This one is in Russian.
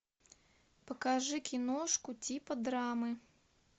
покажи киношку типа драмы